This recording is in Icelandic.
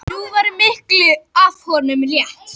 Nú var miklu af honum létt.